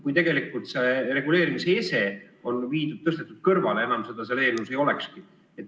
Kui tegelikult see reguleerimise ese on mujale viidud, tõstetud kõrvale, siis enam seda seal eelnõus nagu ei olegi.